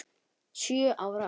Sjö ár?